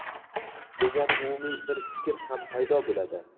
degan umumiy bir fikr ham paydo bo‘ladi.